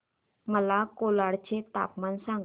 मला कोलाड चे तापमान सांगा